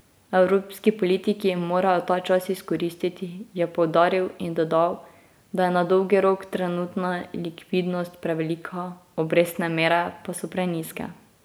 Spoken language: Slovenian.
Evropski politiki morajo ta čas izkoristiti, je poudaril in dodal, da je na dolgi rok trenutna likvidnost prevelika, obrestne mere pa so prenizke.